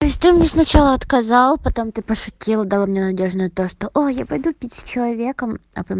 то есть ты мне сначала отказал потом ты пошутил дал мне надежду на то что о я пойду пить с человеком а потом